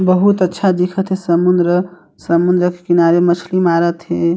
बहुत अच्छा दिखथ हे समुन्द्र-समुन्द्र के किनारे मछली मारत हे।